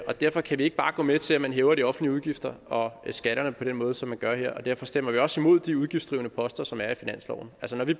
og derfor kan vi ikke bare gå med til at man hæver de offentlige udgifter og skatterne på den måde som man gør her og derfor stemmer vi også imod de udgiftsdrivende poster som er i finansloven